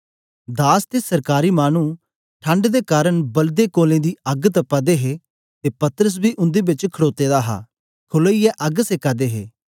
दास ते सरकारी मानु ठण्ड दे कारन बलदे कोलें दी अग्ग तपा दे हे ते पतरस बी उन्दे बेच खडोते दा हा खलोईए अग्ग सेका दे हे ते पतरस बी उन्दे च खड़ोते दा हा